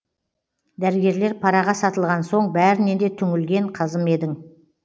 дәрігерлер параға сатылған соң бәрінен де түңілген қазым едің